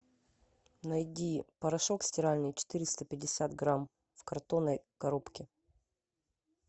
найди порошок стиральный четыреста пятьдесят грамм в картонной коробке